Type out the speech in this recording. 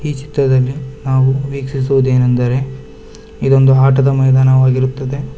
ಈ ಚಿತ್ರದಲ್ಲಿ ನಾವು ವೀಕ್ಷಿಸುವುದೇನೆಂದರೆ ಇದೊಂದು ಆಟದ ಮೈದಾನವಾಗಿರುತ್ತದೆ.